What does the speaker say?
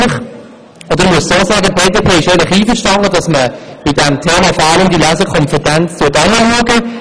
Die BDP ist einverstanden, dass man beim Thema «Fehlende Lesekompetenz» genau hinsieht;